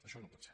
això no pot ser